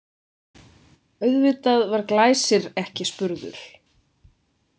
Auðvitað var Glæsir ekki spurður.